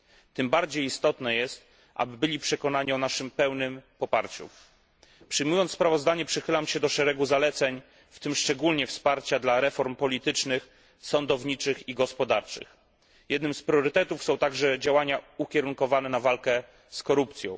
Tym bardziej istotne jest, aby byli oni przekonani o naszym pełnym poparciu. Przychylam się do szeregu zaleceń, w tym szczególnie do wsparcia dla reform politycznych, sądowniczych i gospodarczych. Jednym z priorytetów są także działania ukierunkowane na walkę z korupcją.